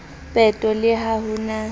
peto le ha ho na